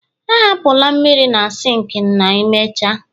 ahapụla mmiri na sink ma imecha